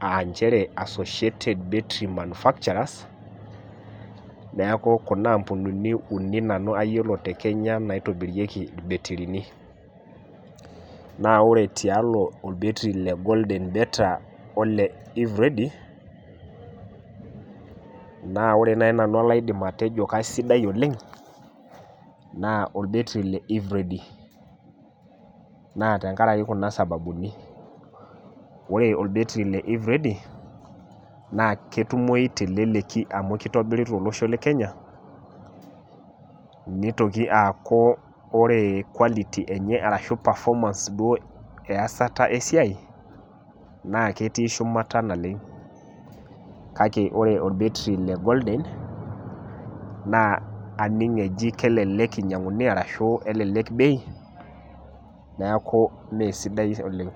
aa inchere associated battery manufacturers ,naaku kuna ampunini uni nanu ayiolo te Kenya naitobireiki ilbetirini, naa ore tialo olbetiri le golden better oo lee eveready naa ore naii nanu olaidim atejo kaisidai oleng naa olbetiri le eveready, naa tengaraki tuna sababuni, ore olbetiri le eveready naa ketumoi te leleki amu keitobiri telosho le kenya, neitoki aaku kore quality enye arashu performance duo easata esiai, naa ketii shumata naleng kake ore olbetiri le golden animg eji kelelek einyanguni arashu elelek bei, naa6mee sidai oleng.